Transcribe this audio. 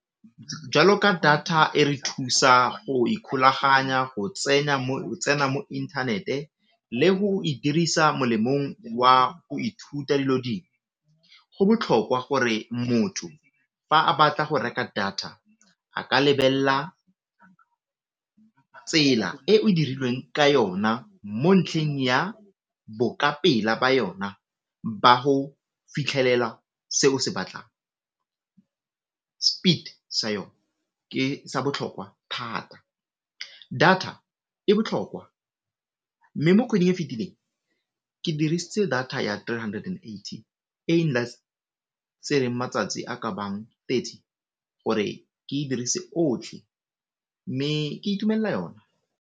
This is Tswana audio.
Jwalo ka data e re thusa go ikgolaganya go tsena mo inthanete le go e dirisa molemong wa go ithuta dilo ding, go botlhokwa gore motho fa a batla go reka data a ka lebella tsela eo e dirilweng ka yona mo ntlheng ya boka-pela ba yona ba go fitlhelela se o se batlang. Speed sa yone ke sa botlhokwa thata, data e botlhokwa mme mo kgweding e fetileng ke dirisitse data ya three hundred and eighty e matsatsi a ka bang thirty gore ke dirise otlhe mme ke itumella yone.